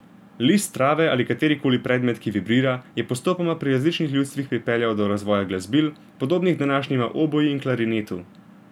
List trave ali katerikoli podoben predmet, ki vibrira, je postopoma pri različnih ljudstvih pripeljal do razvoja glasbil, podobnih današnjima oboi in klarinetu.